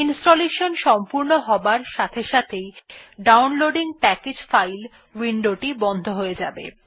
installation সম্পূর্ণ হবার সাথে সাথেই ডাউনলোডিং প্যাকেজ ফাইল উইন্ডোটি বন্ধ হয়ে যাবে